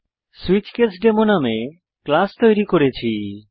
switch case demo নাম class তৈরী করেছি